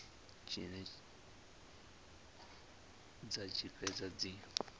tshine dza tshi fhedza dzi